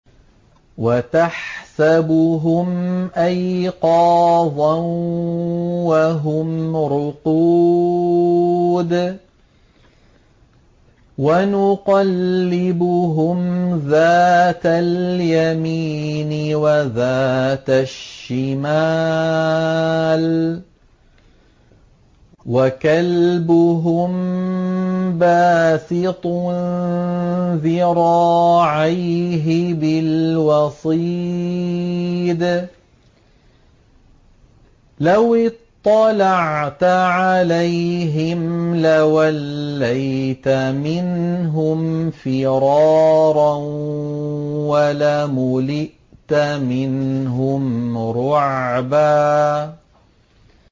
وَتَحْسَبُهُمْ أَيْقَاظًا وَهُمْ رُقُودٌ ۚ وَنُقَلِّبُهُمْ ذَاتَ الْيَمِينِ وَذَاتَ الشِّمَالِ ۖ وَكَلْبُهُم بَاسِطٌ ذِرَاعَيْهِ بِالْوَصِيدِ ۚ لَوِ اطَّلَعْتَ عَلَيْهِمْ لَوَلَّيْتَ مِنْهُمْ فِرَارًا وَلَمُلِئْتَ مِنْهُمْ رُعْبًا